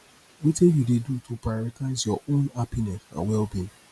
wetin you dey do to prioritize your own happiness and wellbeing